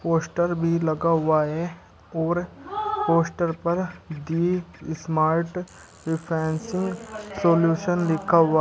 poster भी लगा हुआ है और पोस्टर पर दी स्मार्ट डिफेंसिंग सॉल्यूशन लिखा हुआ--